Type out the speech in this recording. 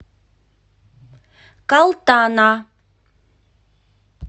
калтана